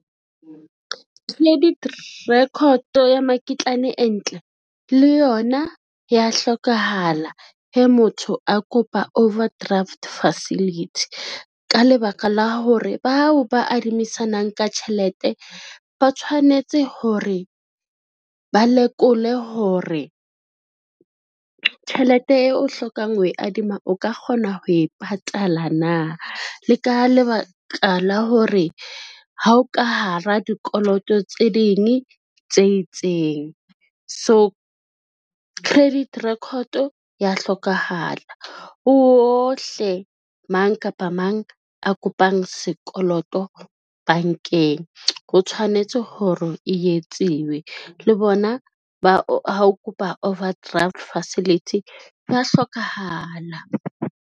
Credit record ya makitlane e ntle, le yona ya hlokahala he motho a kopa overdraft facility. Ka lebaka la hore bao ba adimisanang ka tjhelete, ba tshwanetse hore ba lekole hore tjhelete eo o hlokang ho e adima o ka kgona ho e patala na le ka lebaka la hore ha o ka hara dikoloto tse ding tse itseng. So, credit record ya hlokahala, ho ohle mang kapa mang a kopang sekoloto bankeng ho tshwanetse hore e etsiwe le bona ba o kopa overdraft facility ya hlokahala.